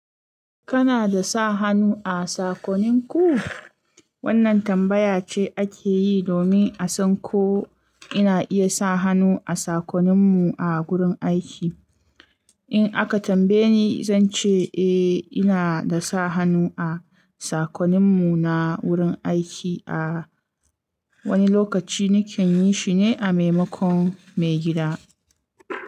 Kana da sa hannu a sakoninku? Wannan tambaya ce ake yi domin a san ko ina iya sa hannu a sakoninmu a gurin aiki. In aka tambaye ni, zan ce eh, ina da sa hannu a sakoninmu na wurin aiki. A wani lokaci nakan yi, shine a maimakon maigida.